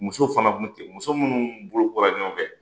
Muso fana tun ten, muso minnu bolokura ɲɔgɔnfɛ.